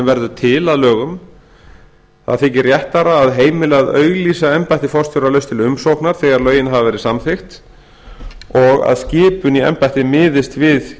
verður til að lögum réttara þykir að heimila að auglýsa embætti forstjóra laust til umsóknar þegar lögin hafa verið samþykkt og að skipun í embættið miðist við